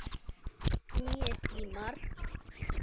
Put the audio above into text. Nú séu nýir tímar.